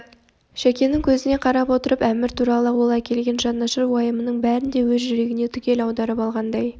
шәкенің көзіне қарап отырып әмір туралы ол әкелген жанашыр уайымының бәрін де өз жүрегіне түгел аударып алғандай